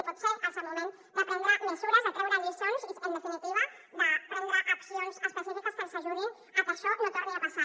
i potser és el moment de prendre mesures de treure lliçons i en definitiva de prendre accions específiques que ens ajudin a que això no torni a passar